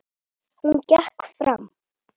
Hún gekk fram.